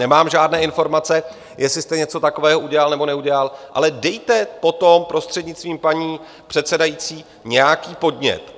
Nemám žádné informace, jestli jste něco takového udělal nebo neudělal, ale dejte potom, prostřednictvím paní předsedající, nějaký podnět.